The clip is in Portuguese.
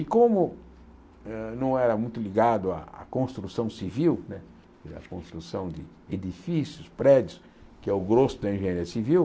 E como hã não era muito ligado à construção civil, a construção de de edifícios, prédios, que é o grosso da engenharia civil,